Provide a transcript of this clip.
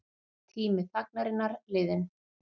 Tími þagnarinnar liðinn